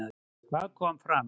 Hvað kom fram?